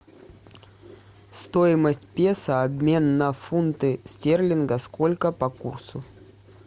стоимость песо обмен на фунты стерлингов сколько по курсу